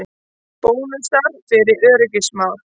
Bónusar fyrir öryggismál